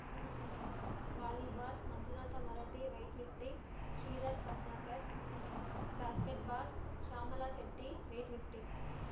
ನಳಿನಾವಾಲಿಬಾಲ್‌ ಮಂಜುನಾಥ ಮರಟಿವೇಟ್‌ lifting Shridhar Patankar basketball Shyamala Shetty weightlifting